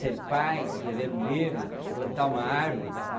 Ser pai, escrever um livro, plantar uma árvore.